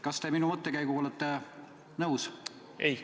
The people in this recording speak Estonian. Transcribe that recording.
Kas te minu mõttekäiguga olete nõus?